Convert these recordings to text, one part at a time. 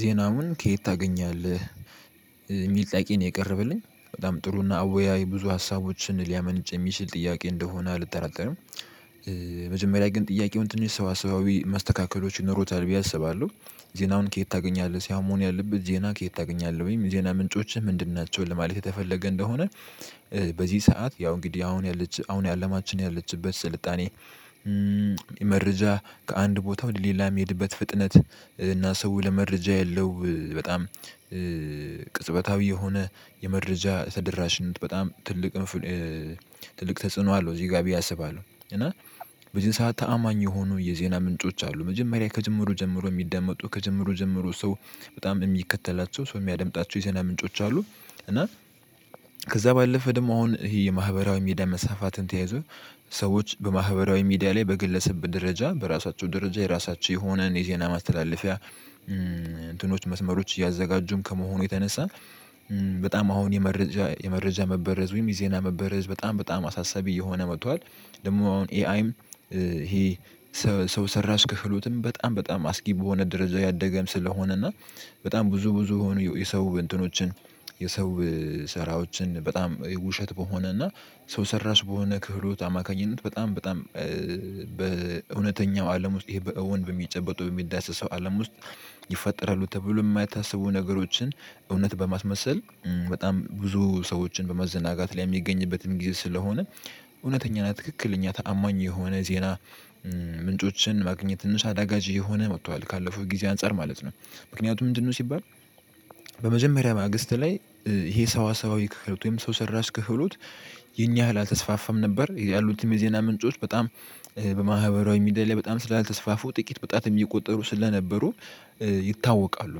ዜናውን ከየት ታገኛለህ? የሚል ጥያቄ ነው የቀረበልኝ በጣም ጥሩና እና አወያይ ብዙ ሀሳቦችን ሊያመነጭ የሚችል ጥያቄ እንደሆነ አልጠራጠርም። መጀመሪያ ግን ጥያቄውን ትንሽ ሰዋሰዋዊ መስተካከሎች ይኖሩታል ብዬ አስባለሁ። ዜናውን ከየት ታገኛለህ ሳይሆን መሆን ያለበት ዜና ከየት ታገኛለህ ወይም የዜና ምንጮችህ ምንድን ናቸው ለማለት የተፈለገ እንደሆነ? በዚህ ሰዓት ያው እንግዲህ አሁን ያለች አሁን አለማችን ያለችበት ስልጣኔ መረጃ ከአንድ ቦታ ወደ ሌላ የሚሄድበት ፍጥነት እና ሰው ለመረጃ ያለው በጣም ቅጽበታዊ የሆነ የመረጃ ተደራሽነት በጣም ትልቅ ትልቅ ተጽዕኖ አለው እዚህ ጋር ብዬ አስባለሁ። እና በዚህ ሰዓት ተአማኝ የሆኑ የዜና ምንጮች አሉ መጀመሪያ ከጅምሩ ጀምሮ የሚደመጡ ከጅምሩ ጀምሮ ሰው በጣም የሚከተላቸው ሰው የሚያደምጣቸው የዜና ምንጮች አሉ። እና ከዛ ባለፈ ደግሞ አሁን ይሄ የማህበራዊ ሚዲያ መስፋፋትን ተያይዞ ሰዎች በማህበራዊ ሚዲያ ላይ በግለሰብ ደረጃ በራሳቸው ደረጃ የራሳቸው የሆነን የዜና ማስተላለፊያ እንትኖች መስመሮች እያዘጋጁም ከመሆኑ የተነሳ በጣም አሁን የመረጃ የመረጃ መበረዝ ወይም የዜና መበረዝ በጣም በጣም አሳሳቢ እየሆነ መጥቷል። ደግሞ አሁን ኤአይም ይሄ ሰው ሰራሽ ከፍሎትም በጣም በጣም አስጊ በሆነ ደረጃ እያደገም ስለሆነ እና በጣም ብዙ ብዙ የሆኑ የሰው እንትኖችን የሰው ስራዎችን በጣም ውሸት በሆነ እና ሰው ሰራሽ በሆነ ክህሎት አማካኝነት በጣም በጣም በእውነተኛው አለም ውስጥ ይሄ በእውን በሚጨበጡ በሚዳሰሰው አለም ውስጥ ይፈጠራሉ ተብሎ የማይታሰቡ ነገሮችን እውነት በማስመሰል በጣም ብዙ ሰዎችን በመዘናጋት ላይ የሚገኝበትን ጊዜ ስለሆነ እውነተኛ እና ትክክለኛ ተአማኝ የሆነ ዜና ምንጮችን ማግኘት ትንሽ አዳጋች የሆነ መጥቷል ካለፈው ጊዜ አንፃር ማለት ነው። ምክንያቱም ምንድንነው ሲባል በመጀመሪያ ማግስት ላይ ይሄ ሰዋሰዋዊ ክህሎት ወይም ሰው ሰራሽ ክህሎት የንያህል አልተስፋፋም ነበር ያሉትም የዜና ምንጮች በጣም በማህበራዊ ሚዲያ ላይ በጣም ስላልተስፋፉ ጥቂት በጣት የሚቆጠሩ ስለነበሩ ይታወቃሉ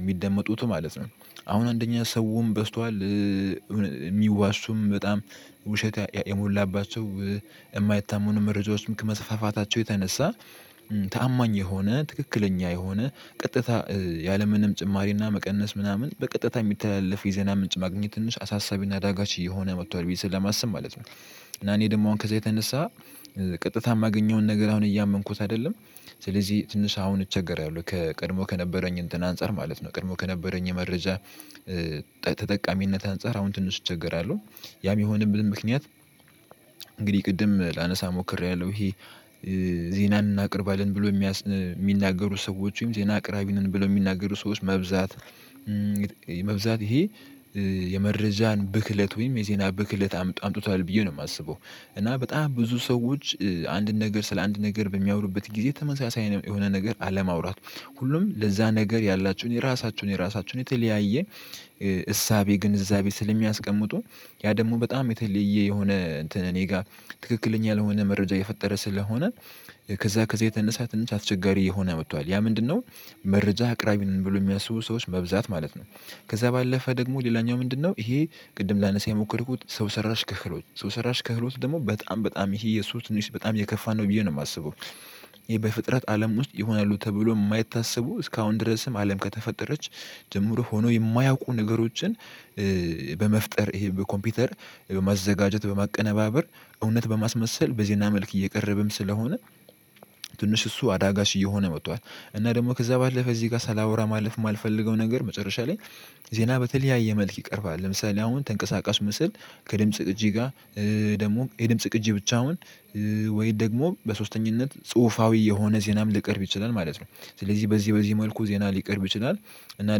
የሚደመጡት ማለት ነው። አሁን አንደኛ ሰውም በዝቷል የሚዋሹም በጣም ውሸት የሞላባቸው የማይታመኑም መረጃዎች ከመስፋፋታቸው የተነሳ ታማኝ የሆነ ትክክለኛ የሆነ ቀጥታ ያለምንም ጭማሪና መቀነስ ምናምን በቀጥታ የሚተላለፍ የዜና ምንጭ ማግኘት ትንሽ አሳሳቢና አዳጋች እየሆነ መጥቷል ብዬ ስለማስብ ማለት ነው። እና እኔ ደግሞ አሁን ከዛ የተነሳ ቀጥታ የማገኘውን ነገር አሁን እያመንኩት አይደለም ስለዚህ ትንሽ አሁን እቸገራለሁ ከቀድሞ ከነበረኝ እንትን አንፃር ማለት ነው ቀድሞ ከነበረኝ የመረጃ ተጠቃሚነት አንፃር አሁን ትንሽ እቸገራለሁ። ያም የሆነበት ምክንያት እንግዲህ ቅድም ላነሳ ሞክሪያለሁ ይሄ ዜናን እናቅርባለን ብሎ የሚናገሩ ሰዎች ዜና አቅራቢ ነን ብሎ የሚናገሩ ሰዎች መብዛት መብዛት ይሄ የመረጃን ብክለት ወይም የዜና ብክለት አምጥቷል ብዬ ነው የማስበው። እና በጣም ብዙ ሰዎች አንድን ነገር ስለ አንድ ነገር በሚያወሩበት ጊዜ ተመሳሳይ የሆነ ነገር አለማውራት ሁሉም ለዛ ነገር ያላችውን የራሳችውን የራሳችውን የተለያየ እሳቤ ግንዛቤ ስለሚያስቀምጡ ያ ደግሞ በጣም የተለየ የሆነ እኔ ጋር ትክክለኛ ያልሆነ መረጃ እየፈጠረ ስለሆነ ከዛ ከዛ የተነሳ ትንሽ አስቸጋሪ እየሆነ መጥቷል ያ? ምንድነው መረጃ አቅራቢ ነን ብለው የሚያስቡ ሰዎች መብዛት ማለት ነው። ከዛ ባለፈ ደግሞ ሌላኛው ምንድነው? ይሄ ቅድም ላነሳ የሞከርኩት ሰው ሰራሽ ክህሎት ሰው ሰራሽ ክህሎት ደግሞ በጣም በጣም ይሄ የሱ ትንሽ በጣም የከፋ ነው ብዬ ነው የማስበው። ይሄ በፍጥረት አለም ውስጥ ይሆናሉ ተብሎ የማይታሰቡ እስካሁን ድረስም አለም ከተፈጠረች ጀምሮ ሆኖ የማያውቁ ነገሮችን በመፍጠር ይሄ በኮምፒውተር በማዘጋጀት በማቀነባበር እውነት በማስመሰል በዜና መልክ እየቀረበም ስለሆነ ትንሽ እሱ አዳጋች እየሆነ መጥቷል። እና ደግሞ ከዛ ባለፈ እዚህ ጋር ሳላወራ ማለፍ የማልፈልገው ነገር መጨረሻ ላይ ዜና በተለያየ መልክ ይቀርባል ለምሳሌ አሁን ተንቀሳቃሽ ምስል ከድምጽ ቅጂ ጋር ደግሞ የድምጽ ቅጂ ብቻውን ወይ ደግሞ በሶስተኛነት ጽሁፋዊ የሆነ ዜናም ሊቀርብ ይችላል ማለት ነው። ስለዚህ በዚህ በዚህ መልኩ ዜና ሊቀርብ ይችላል። እና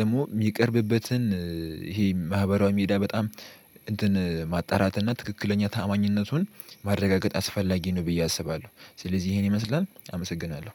ደግሞ የሚቀርብበትን ይሄ ማህበራዊ ሚዲያ በጣም እንትን ማጣራት እና ትክክለኛ ታአማኝነቱን ማረጋገጥ አስፈላጊ ነው ብዬ አስባለሁ። ስለዚህ ይሄን ይመስላል አመሰግናለሁ